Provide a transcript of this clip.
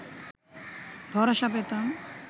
ভরসা পেতাম